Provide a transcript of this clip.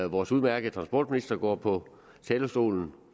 vores udmærkede transportminister gå på talerstolen